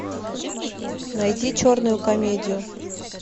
найди черную комедию